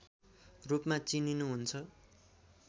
रूपमा चिनिनुहुन्छ